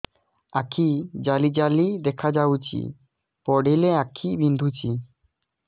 ଆଖି ଜାଲି ଜାଲି ଦେଖାଯାଉଛି ପଢିଲେ ଆଖି ବିନ୍ଧୁଛି